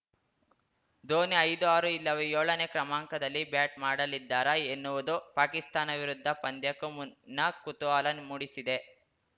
ಧೋನಿ ಐದು ಆರು ಇಲ್ಲವೇ ಏಳನೇ ಕ್ರಮಾಂಕದಲ್ಲಿ ಬ್ಯಾಟ್‌ ಮಾಡಲಿದ್ದಾರಾ ಎನ್ನುವುದು ಪಾಕಿಸ್ತಾನ ವಿರುದ್ಧ ಪಂದ್ಯಕ್ಕೂ ಮುನ್ನ ಕುತೂಹಲ ಮೂಡಿಸಿದೆ